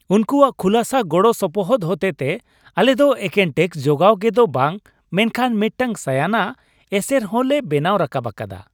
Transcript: ᱩᱱᱠᱩᱣᱟᱜ ᱠᱷᱩᱞᱟᱹᱥᱟ ᱜᱚᱲᱚ ᱥᱚᱯᱚᱦᱚᱫ ᱦᱚᱛᱮᱛᱮ, ᱟᱞᱮ ᱫᱚ ᱮᱠᱮᱱ ᱴᱮᱹᱠᱥ ᱡᱚᱜᱟᱣ ᱜᱮ ᱫᱚ ᱵᱟᱝ ᱢᱮᱱᱠᱷᱟᱱ ᱢᱤᱫᱴᱟᱝ ᱥᱟᱭᱟᱱᱟᱜ ᱮᱥᱮᱨ ᱦᱚᱸ ᱞᱮ ᱵᱮᱱᱟᱣ ᱨᱟᱠᱟᱵ ᱟᱠᱟᱫᱟ !